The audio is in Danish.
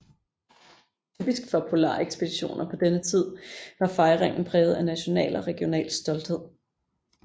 Typisk for polarekspeditioner på denne tid var fejringen præget af national og regional stolthed